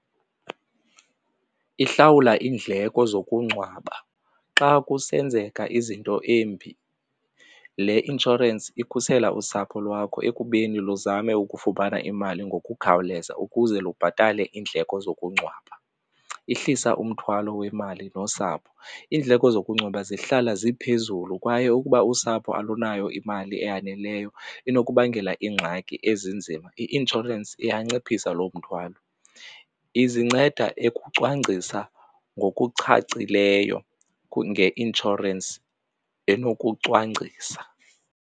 Ihlawula iindleko zokungcwaba xa kusenzeka izinto embi le inshorensi ikhusela usapho lwakho ekubeni luzame ukufumana imali ngokukhawuleza ukuze lubhatale iindleko zokungcwaba. Ihlisa umthwalo wemali nosapho, iindleko zokungcwaba zihlala ziphezulu kwaye ukuba usapho alunayo imali eyaneleyo inokubangela iingxaki ezinzima, i-inshorensi trends iyanciphisa lo mthwalo. Izinceda ekucwangcisa ngokucacileyo ngeinshorensi enokucwangcisa.